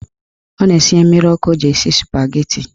Ọ na-esinye mmiri ọkụ o ji esi spageti.